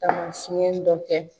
Ka dɔ kɛ.